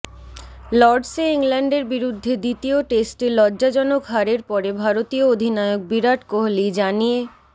লর্ডসে ইংল্যান্ডের বিরুদ্ধে দ্বিতীয় টেস্টে লজ্জাজনক হারের পরে ভারতীয় অধিনায়ক বিরাট কোহালি জানিয়ে